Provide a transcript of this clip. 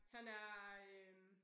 Han er øh